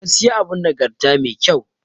Gaskiya abun nagarta mai ƙyau ne.